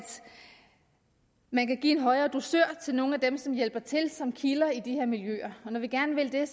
man kan give en højere dusør til nogle af dem som hjælper til som kilder til de her miljøer og når vi gerne vil det er